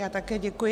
Já také děkuji.